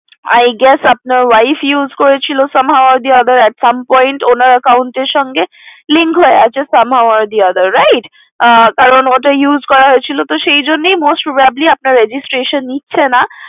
I guess আপনার wife use করেছিলো somehow or the other some point ওনার account এর সাথে link হয়ে আছে somehow or the other right কারণ ওটা use করা হয়েছিল তো তাই most probably আপনার registration নিচ্ছে না